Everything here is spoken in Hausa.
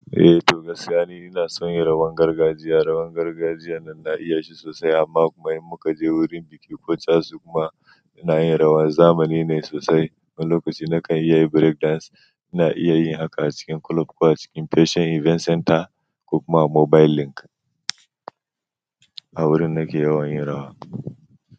Eh to, gaskiya ina son yin rawan gargajiya rawan gargajiya na na iya shi sosai amma kuma in muka je wurin biki ko casu kuma ina yin rawaz. Zamani ne sosai. Wani lokaci na kan yi break dance. Ina iya yin haka a cikin club ko a cikin fashion event center ko kuma mobile link. A wurin nake yawan yin rawa.